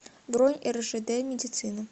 бронь ржд медицина